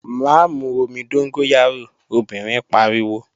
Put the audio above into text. Má mu omi dóngóyárò, obìnrin pariwo!